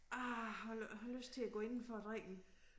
Ah har har lyst til at gå indenfor og drikke en